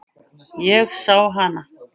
Ég sá hana.